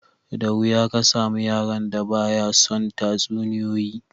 Da wuya ka samu yaron da ba ya son tatsuniyoyi